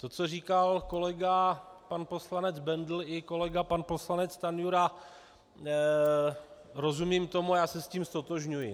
To, co říkal kolega pan poslanec Bendl i kolega pan poslanec Stanjura, rozumím tomu, já se s tím ztotožňuji.